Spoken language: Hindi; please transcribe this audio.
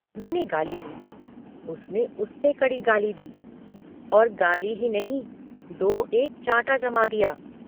मैने गाली दी उसने उससे कड़ी गाली दी और गाली ही नहीं दो एक चाँटा जमा दिया।